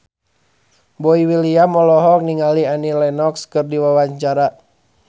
Boy William olohok ningali Annie Lenox keur diwawancara